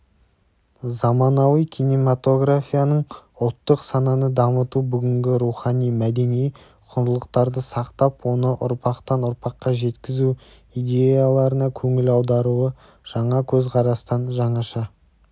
заманауи кинематографияның ұлттық сананы дамыту бүгінгі рухани-мәдени құндылықтарды сақтап оны ұрпақтан ұрпаққа жеткізу идеяларына көңіл аударуы жаңа көзқарастан жаңаша